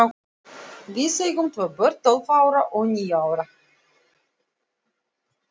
Við eigum tvö börn, tólf ára og níu ára.